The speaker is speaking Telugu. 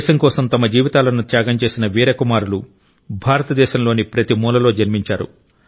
దేశం కోసం తమ జీవితాలను త్యాగం చేసిన వీర కుమారులు భారతదేశంలోని ప్రతి మూలలో జన్మించారు